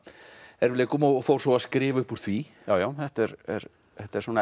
erfiðleikum og fór svo að skrifa upp úr því já já þetta er þetta er svona